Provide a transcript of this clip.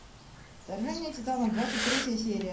вторжение титанов двадцать третья серия